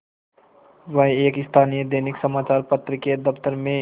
वह एक स्थानीय दैनिक समचार पत्र के दफ्तर में